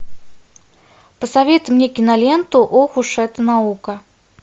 посоветуй мне киноленту ох уж эта наука